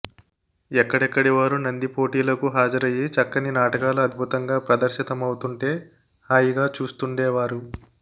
ఎక్కడెక్కడి వారూ నంది పోటీలకు హాజరయి చక్కని నాటకాలు అద్భుతంగా ప్రదర్శితమవుతుంటే హాయిగా చూస్తుండేవారు